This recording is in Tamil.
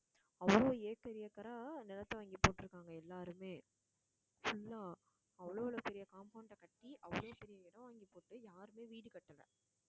அவ்வளோ acre acre அ நிலத்தை வாங்கிப் போட்டிருக்காங்க எல்லாருமே full ஆ அவ்ளோளவு பெரிய compound அ கட்டி அவ்வளோ பெரிய இடம் வாங்கிப் போட்டு யாருமே வீடு கட்டலை